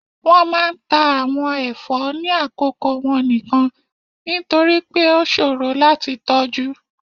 wọn máà ń ta awon ẹfọ ni akoko wọn nikan, nitori pe o ṣoro lati tọju.